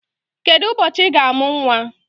Kedụ ụbọchị Ị ga-amụ nwa?